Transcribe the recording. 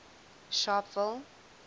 sharpeville